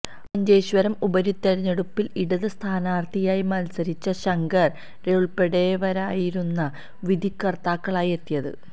മഞ്ചേശ്വരം ഉപതിരഞ്ഞെടുപ്പില് ഇടത് സ്ഥാനാര്ഥിയായി മത്സരിച്ച ശങ്കര് റേ ഉള്പ്പെടുന്നവരായിരുന്നു വിധികര്ത്താക്കളായി എത്തിയത്